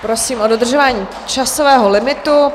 Prosím o dodržování časového limitu.